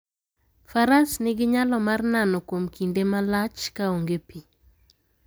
Faras nigi nyalo mar nano kuom kinde malach ka onge pi.